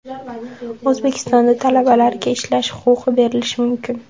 O‘zbekistonda talabalarga ishlash huquqi berilishi mumkin.